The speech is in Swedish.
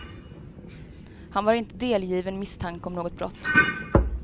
Han var inte delgiven misstanke om något brott.